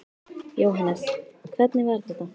Jóhannes: Hvernig var þetta?